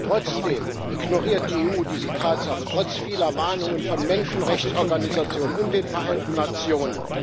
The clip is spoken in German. Trotzdem ignoriert die EU diese Tatsache trotz vieler Warnungen von Menschenrechtsorganisationen und den Vereinten Nationen.